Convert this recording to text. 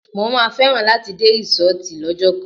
Mo má nífẹ̀ẹ́ láti dé rísọ́tì lọ́jọ́ kan.